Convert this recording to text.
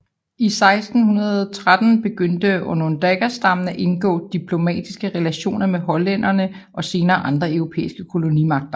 I 1613 begyndte Onondagastammen at indgå diplomatiske relationer med hollænderne og senere andre europæiske kolonimagter